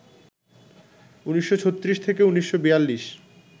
১৯৩৬-১৯৪২